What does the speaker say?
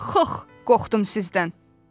Xox, qoxdum sizdən.